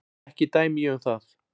Ekki dæmi ég um það.